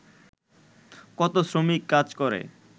কত শ্রমিক কাজ করে